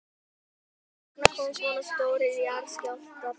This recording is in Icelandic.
Hvers vegna koma svona stórir jarðskjálftar þar?